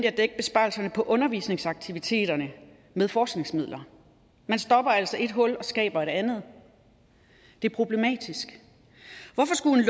at dække besparelserne på undervisningsaktiviteterne med forskningsmidler man stopper altså et hul og skaber et andet det er problematisk hvorfor skulle en